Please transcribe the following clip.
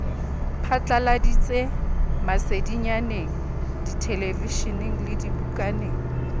phatladitse masedinyaneng dithelevishineng le dibukaneng